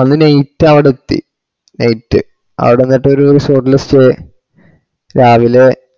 അന്ന് night അവടത്തി night അവിടന്നേരത്ത് ഒരു resort ല് stay രാവിലെ